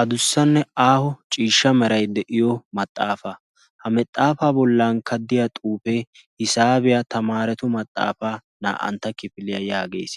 adussanne aaho ciishsha merai de'iyo maxaafaa ha maxaafaa bollanka diya xuufee hisaabiyaa tamaaratu maxaafaa naa''antta kifiliyaa yaagees